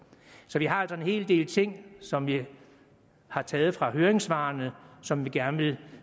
så vi har altså en hel del ting som vi har taget fra høringssvarene og som vi gerne vil